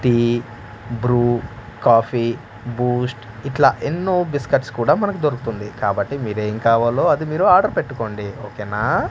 Tea Bru coffee Boost ఇట్లా ఎన్నో biscuits కూడా మనకు దొరుకుతుంది కాబట్టి మీరు ఏం కావాలో అది మీరు ఆర్డర్ పెట్టుకోండి ఓకే నా.